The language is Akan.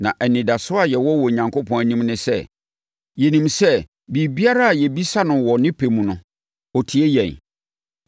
Na anidasoɔ a yɛwɔ wɔ Onyankopɔn anim ne sɛ, yɛnim sɛ biribiara a yɛbisa no wɔ ne pɛ mu no, ɔtie yɛn.